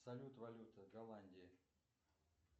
салют валюта голландии